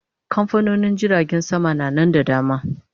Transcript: Kamfanonin jiragen sama na Nan da dama